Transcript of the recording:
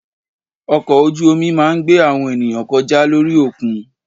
Ọkọ̀ ojú omi máa ń gbé àwọn ènìyàn kọjá lórí òkun.